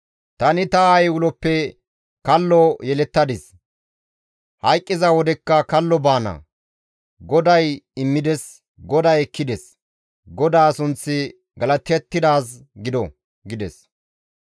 «Tani ta aayey uloppe kallo yelettadis; hayqqiza wodekka kallo baana; GODAY immides; GODAY ekkides; GODAA sunththi galatettidaaz gido» gides.